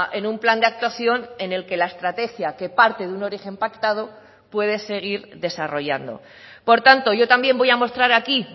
en un plan de actuación en el que la estrategia que parte de un origen pactado puede seguir desarrollando por tanto yo también voy a mostrar aquí